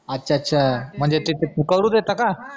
अच्छा अच्छा म्हनजे ते करू देता का?